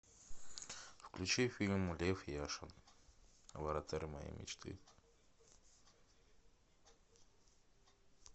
включи фильм лев яшин вратарь моей мечты